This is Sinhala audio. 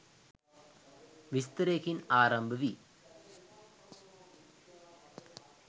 විස්තරයකින් ආරම්භ වී